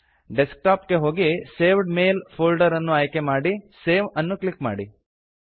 desk top ಗೆ ಹೋಗಿ saved mails folder ಅನ್ನು ಆಯ್ಕೆ ಮಾಡಿ ಸೇವ್ ಅನ್ನು ಕ್ಲಿಕ್ ಮಾಡಿ